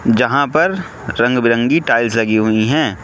जहां पर रंग बिरंगी टाइल्स लगीं हुईं हैं।